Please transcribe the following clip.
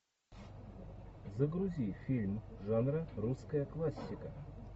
загрузи фильм жанра русская классика